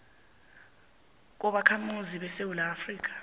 kobakhamuzi besewula afrika